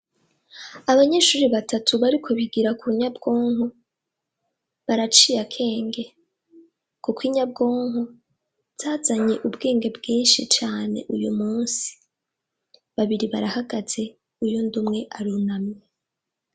Abanyeshure batatu bariko ubigira kunyabwonko baraciye akenge kuko inyabwonko zazanye ubwenge bwinshi uyumusi babiri barahagaze uwundi umwe aricaye.